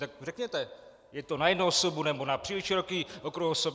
Tak řekněte, je to na jednu osobu, nebo na příliš široký okruh osob?